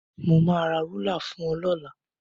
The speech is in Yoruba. Mo máa ra rúlà fún ẹ lọ́la.